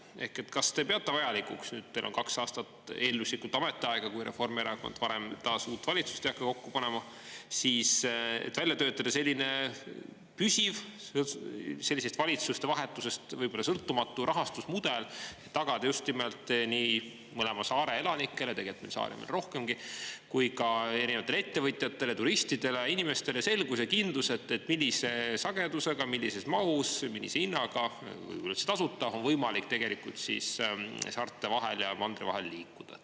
Ehk kas te peate vajalikuks, nüüd teil on kaks aastat eelduslikult ametiaega, kui Reformierakond varem taas uut valitsust ei hakka kokku panema, siis välja töötada selline püsiv sellisest valitsuste vahetusest võib-olla sõltumatu rahastusmudel, et tagada just nimelt nii mõlema saare elanikele, tegelikult meil saari on veel rohkemgi, kui ka erinevatele ettevõtjatele, turistidele, inimestele selgus ja kindlus, et millise sagedusega, millises mahus, millise hinnaga, võib-olla üldse tasuta, on võimalik tegelikult saarte vahel ja mandri vahel liikuda?